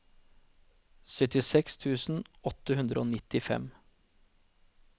syttiseks tusen åtte hundre og nittifem